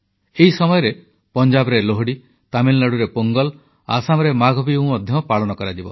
ଏହି ସମୟରେ ପଞ୍ଜାବରେ ଲୋହଡ଼ି ତାମିଲନାଡ଼ୁରେ ପୋଙ୍ଗଲ ଆସାମରେ ମାଘବିହୁ ମଧ୍ୟ ପାଳନ କରାଯିବ